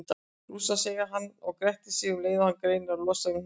Rússar, segir hann og grettir sig um leið og hann reynir að losa um hnéð.